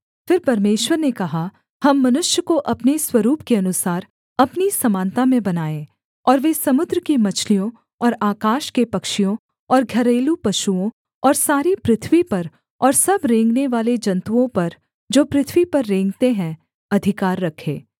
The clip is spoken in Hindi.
फिर परमेश्वर ने कहा हम मनुष्य को अपने स्वरूप के अनुसार अपनी समानता में बनाएँ और वे समुद्र की मछलियों और आकाश के पक्षियों और घरेलू पशुओं और सारी पृथ्वी पर और सब रेंगनेवाले जन्तुओं पर जो पृथ्वी पर रेंगते हैं अधिकार रखें